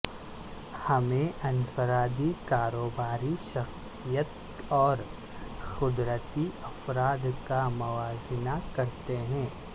ہمیں انفرادی کاروباری شخصیت اور قدرتی افراد کا موازنہ کرتے ہیں